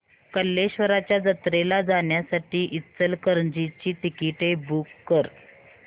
कल्लेश्वराच्या जत्रेला जाण्यासाठी इचलकरंजी ची तिकिटे बुक कर